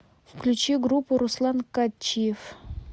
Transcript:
включи группу руслан катчиев